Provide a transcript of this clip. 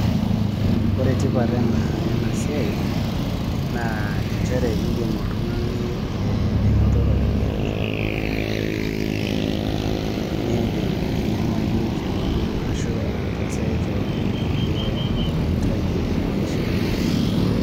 Ore tipat enasiai, naa injere idim oltung'ani ainoto ropiyiani, nidim ainyang'aki keon ashu ataasaki keon inkulie mahitaji emaisha.